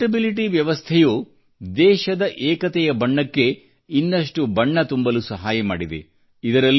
ಈ ಪೆÇೀರ್ಟೆಬಿಲಿಟಿ ವ್ಯವಸ್ಥೆಯು ದೇಶದ ಏಕತೆಯ ಬಣ್ಣಕ್ಕೆ ಇನ್ನಷ್ಟು ರಂಗು ತುಂಬಲು ಸಹಾಯ ಮಾಡಿದೆ